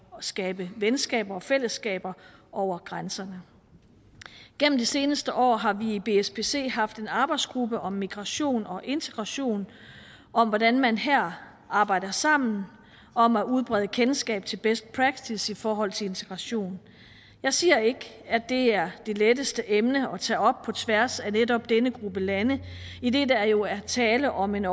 skabe venskaber og fællesskaber over grænserne gennem de seneste år har vi i bspc haft en arbejdsgruppe om migration og integration om hvordan man her arbejder sammen om at udbrede kendskabet til best practice i forhold til integration jeg siger ikke at det er det letteste emne at tage op på tværs af netop denne gruppe lande idet der jo er tale om en